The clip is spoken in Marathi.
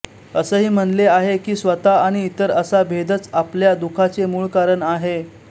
असही म्हणले आहे की स्वतः आणि इतर असा भेदच अपल्या दुखाचे मूळ कारण आहे